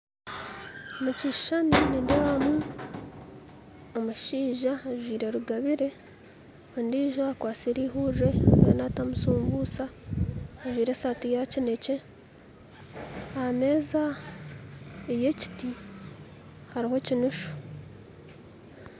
Omu kishushani nindeebamu omushaija ajwaire rugabire ondiijo akwatsire eihurire ariyo naatamu shumbuusha ajwaire esaati ya kinekye aha meeza ey'ekiti hariho ekinushu